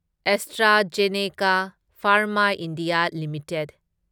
AstraZeneca pharma India limited